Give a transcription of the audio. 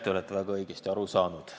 Te olete väga õigesti aru saanud.